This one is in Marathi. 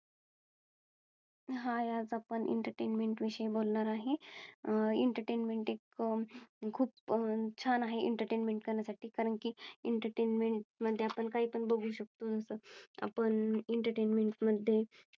Hi आज आपण Entertainment विषयी बोलणार आहे. Entertainment खूप छान आहे. Entertainment करण्यासाठी कारण की Entertainment मध्ये आपण काही पण बघू शकतो जस आपण Entertainment